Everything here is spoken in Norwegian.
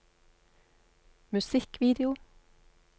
musikkvideo